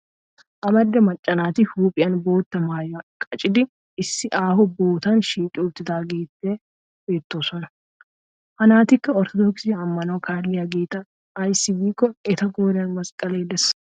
Amarida macca naati huuphiyan bootta maayuwa qachchidi issi aaho bootan shiiqi uttidaageeta beettoosona. Ha naatikka orttodookise ammanuwa kaalliyageeta ayssi gidikko eta qooriyan masqqalee des.